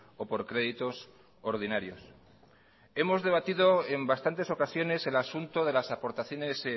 o por créditos ordinarios hemos debatido en bastantes ocasiones el asunto de las aportaciones